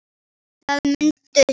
Það muntu sjá.